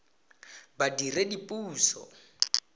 badiredipuso